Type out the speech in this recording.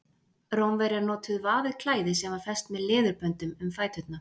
Rómverjar notuðu vafið klæði sem var fest með leðurböndum um fæturna.